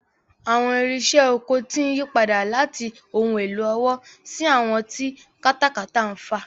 Àwọn irinṣẹ́ oko ti ń yí padà láti ohun èlò ọwọ́ sí àwọn tí katakata ń fà.